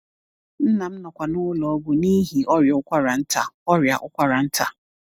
Nna m nọkwa n’ụlọ ọgwụ n’ihi ọrịa ụkwara nta ọrịa ụkwara nta.